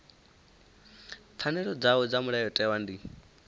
pfanelo dzavho dza mulayotewa ndi